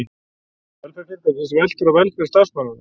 Velferð fyrirtækis veltur á velferð starfsmannanna.